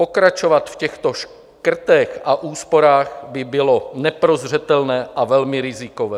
Pokračovat v těchto škrtech a úsporách by bylo neprozřetelné a velmi rizikové.